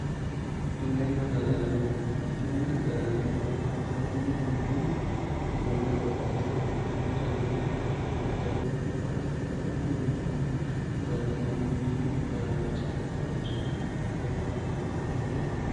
Minenna gallanni mine, minenna gallanni mine yinne bandeemmohu mine yineemmohu uduune wodhate minne calla agurroniho daddaloho babbaxeworira mineho yineemmo ,gallanni mine yineemmohu gallate calla horonsi'nanni mine yinne woshshineemmo.